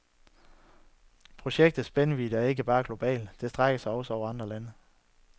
Projektets spændvidde er ikke bare global, det strækker sig også over alle aldre.